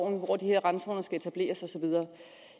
hvor de her randzoner skal etableres og så videre